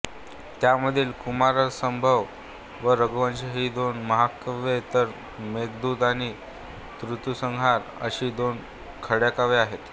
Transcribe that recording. त्यामधील कुमारसंभव व रघुवंश ही दोन महाकाव्ये तर मेघदूत आणि ऋतुसंहार अशी दोन खंडकाव्ये आहेत